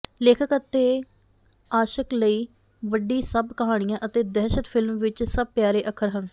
ਲੇਖਕ ਅਤੇ ਾਸ਼ਕ ਲਈ ਵੱਡੀ ਸੱਪ ਕਹਾਣੀਆ ਅਤੇ ਦਹਿਸ਼ਤ ਫਿਲਮ ਵਿੱਚ ਸਭ ਪਿਆਰੇ ਅੱਖਰ ਹਨ